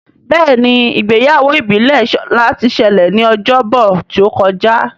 Béèni Ìgbéyàwó ìbílè Shola tí ṣẹlẹ ní Ọjọ́ Bọ̀ tíó kọjá.